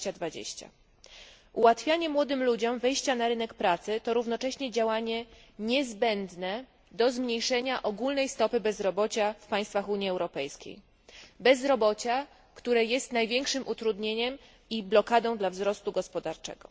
2020. Ułatwianie młodym ludziom wejścia na rynek pracy to równocześnie działanie niezbędne do zmniejszenia ogólnej stopy bezrobocia w państwach Unii Europejskiej, bezrobocia, które jest największym utrudnieniem i blokadą dla wzrostu gospodarczego.